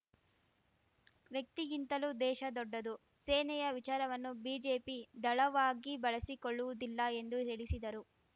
ವ್ಯಕ್ತಿಗಿಂತಲೂ ದೇಶ ದೊಡ್ಡದು ಸೇನೆಯ ವಿಚಾರವನ್ನು ಬಿಜೆಪಿ ದಳವಾಗಿ ಬಳಸಿಕೊಳ್ಳುವುದಿಲ್ಲ ಎಂದು ಹೇಳಿಸಿದರು